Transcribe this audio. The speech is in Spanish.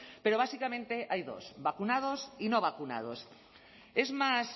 pero básicamente hay dos vacunados y no vacunados